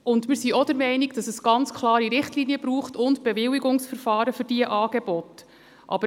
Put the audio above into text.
Und wir sind auch der Meinung, dass es ganz klare Richtlinien und Bewilligungsverfahren für diese Angebote braucht.